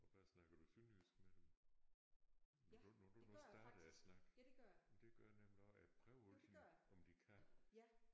Og hvad snakker du sønderjysk med dem? Når du når du nu starter snakken? Det gør jeg nemlig også jeg prøver altid om de kan